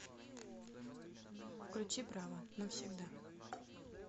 включи браво навсегда